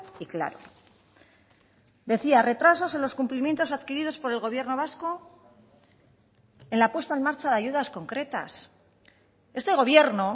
y claro decía retrasos en los cumplimientos adquiridos por el gobierno vasco en la puesta en marcha de ayudas concretas este gobierno